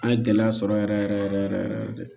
An ye gɛlɛya sɔrɔ yɛrɛ yɛrɛ de